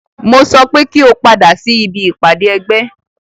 Mo sọ pé kí o padà sí ibi ìpàdé ẹgbẹ́!